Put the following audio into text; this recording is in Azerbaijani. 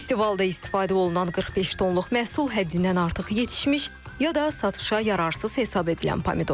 Festivalda istifadə olunan 45 tonluq məhsul həddindən artıq yetişmiş ya da satışa yararsız hesab edilən pomidordur.